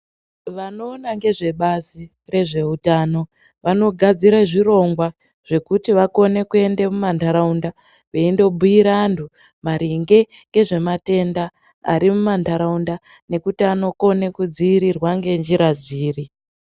Vanowona nezve bazi rezvehutano ,vanogadzire zvirongwa kuti vakone kuenda mumantaraunda veyinobuyire anhu ngezvematenda arimuma ntaraunda nekuti anokone kudziirirwa nenjira dziri.